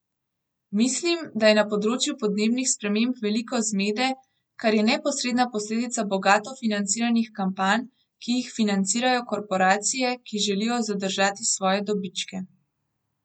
Mislim, da je na področju podnebnih sprememb veliko zmede, kar je neposredna posledica bogato financiranih kampanj, ki jih financirajo korporacije, ki želijo zadržati svoje dobičke.